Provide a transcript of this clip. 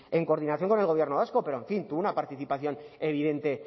en coordinación con el gobierno vasco pero en fin tuvo una participación evidente